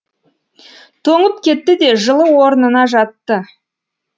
тоңып кетті де жылы орнына жатты